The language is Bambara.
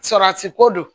Sarati ko don